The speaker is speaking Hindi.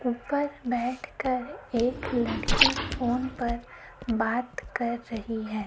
ऊपर बैठ कर एक लड़की फोन पर बात कर रही है।